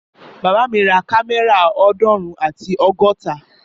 Bàbá mi ra kámẹ́rà ọdunrun ati ọgọta